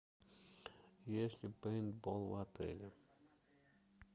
есть ли пейнтбол в отеле